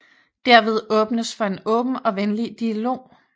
Derved åbnes for en åben og venlig dialog